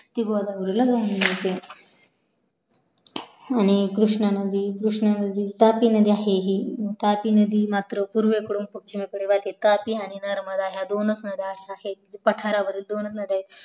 ती गोदावरीला जाऊन मिळते आणि कृष्णा नदी तापी नदी आहे ही तापी नदी मात्र पूर्वे कडून तापी आणि नर्मदा अशी दोनच नद्या आहेत पाठरावरील दोनच नद्या आहेत